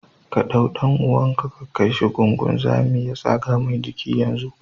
Ka ɗau ɗan'uwanka ka kaishi gun gunzami ya tsaga Mai jiki yanzu.